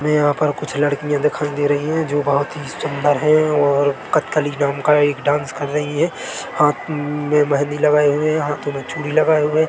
हमें यहाँ पर कुछ लड़कियाँ दिखाई दे रही है जो बोहोत ही सुन्दर है और कतकली नाम का एक डांस कर रही है हाथ में मेहन्दी लगाई हुए है हाथो में चूड़ी लगाए हुए--